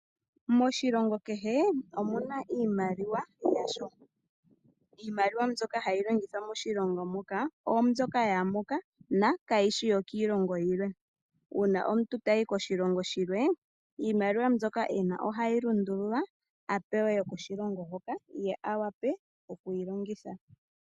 Moshilongo kehe omuna iimaliwa yasho, iimaliwa mbyoka hayi longithwa moshilongo moka, ombyoka yamoka na kayishi yokilongo yimwe, una omuntu tayi koshilongo shilwe iimaliwa mbyoka ena ohayi lundululwa apewe yokoshilongo hoka ye awape okwiningitha.